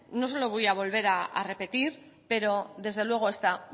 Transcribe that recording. no se lo voy a volver a repetir pero desde luego está